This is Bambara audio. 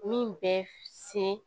Min bɛ se